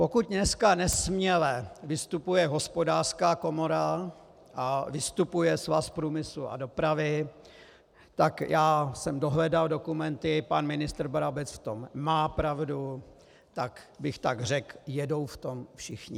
Pokud dneska nesměle vystupuje Hospodářská komora a vystupuje Svaz průmyslu a dopravy, tak já jsem dohledal dokumenty, pan ministr Brabec v tom má pravdu, tak bych tak řekl, jedou v tom všichni.